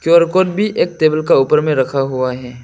QR code भी एक table का ऊपर में रखा हुआ है।